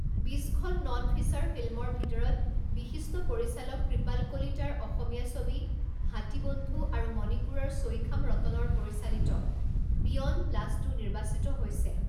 বিছখন নন ফিচাৰ ফিল্মৰ ভিতৰত বিশিষ্ট পৰিচালক কৃপাল কলিতাৰ অসমীয়া ছবি হাতীবন্ধু আৰু মনিপুৰৰ ছৈখাম ৰতনৰ পৰিচালিত বিয়ণ্ড ব্লাষ্টো নিৰ্বাচিত হৈছে।